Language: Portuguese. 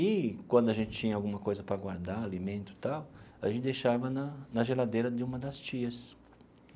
E quando a gente tinha alguma coisa para guardar, alimento e tal, a gente deixava na na geladeira de uma das tias.